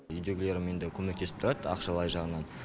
үйдегілерім енді көмектесіп тұрады ақшалай жағынан